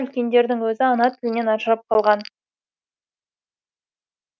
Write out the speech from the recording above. үлкендердің өзі ана тілінен ажарылып қалған